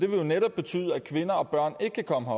vil jo netop betyde at kvinder og børn ikke kan komme